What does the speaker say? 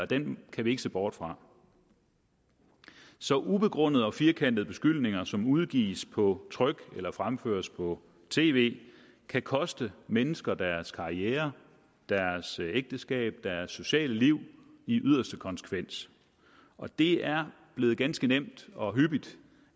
den kan vi ikke se bort fra så ubegrundede og firkantede beskyldninger som udgives på tryk eller fremføres på tv kan koste mennesker deres karriere deres ægteskab og deres sociale liv i yderste konsekvens og det er blevet ganske nemt og hyppigt